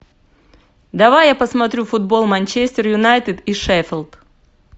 давай я посмотрю футбол манчестер юнайтед и шеффилд